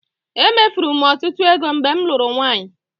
Emefuru m ọtụtụ ego mgbe m lụrụ nwaanyị.